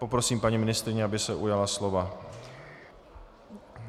Poprosím paní ministryni, aby se ujala slova.